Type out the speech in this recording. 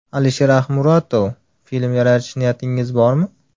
alisherahmuratov Film yaratish niyatingiz bormi?